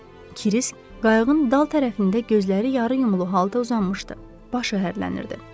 Kirisk qayıqın dal tərəfində gözləri yarıyumlulu halda uzanmışdı, başı hərlənirdi.